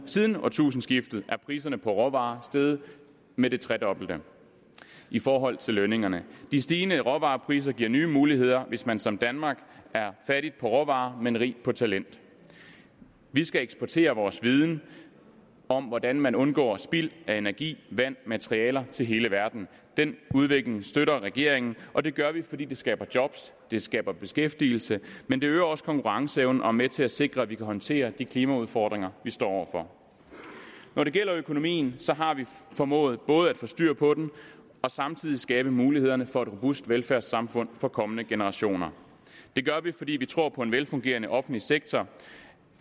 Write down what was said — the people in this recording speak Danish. siden årtusindskiftet er priserne på råvarer steget med det tredobbelte i forhold til lønningerne de stigende råvarepriser giver nye muligheder hvis man som danmark er fattig på råvarer men rig på talent vi skal eksportere vores viden om hvordan man undgår spild af energi vand materialer til hele verden den udvikling støtter regeringen og det gør vi fordi det skaber job det skaber beskæftigelse men det øger også konkurrenceevnen og er med til at sikre at vi kan håndtere de klimaudfordringer vi står over for når det gælder økonomien har vi formået både at få styr på den og samtidig skabe mulighederne for et robust velfærdssamfund for kommende generationer det gør vi fordi vi tror på en velfungerende offentlig sektor